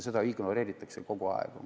Seda ignoreeritakse kogu aeg.